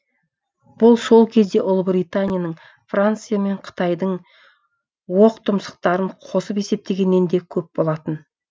бұл сол кезде ұлыбританияның франция мен қытайдың оқтұмсықтарын қосып есептегеннен де көп болатын